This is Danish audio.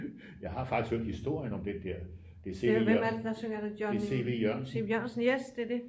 Jeg har faktisk hørt historien om den der det er C V Jørgensen det er C V Jørgensen